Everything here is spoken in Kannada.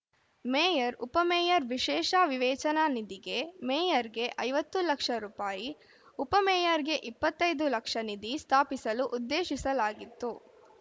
ಮೇಯರ್‌ಉಪ ಮೇಯರ್‌ ವಿಶೇಷ ವಿವೇಚನಾ ನಿಧಿಗೆ ಮೇಯರ್‌ಗೆ ಐವತ್ತು ಲಕ್ಷ ರುಪಾಯಿ ಉಪ ಮೇಯರ್‌ಗೆ ಇಪ್ಪತ್ತ್ ಐದು ಲಕ್ಷ ನಿಧಿ ಸ್ಥಾಪಿಸಲು ಉದ್ದೇಶಿಸಲಾಗಿತ್ತು